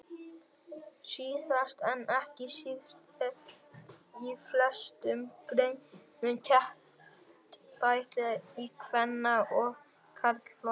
Síðast en ekki síst er í flestum greinum keppt bæði í kvenna og karlaflokki.